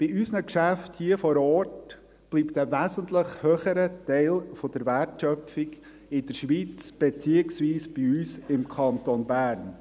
Bei unseren Geschäften hier vor Ort bleibt ein wesentlich höherer Teil der Wertschöpfung in der Schweiz beziehungsweise bei uns im Kanton Bern.